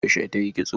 Yaushe tayi kitso?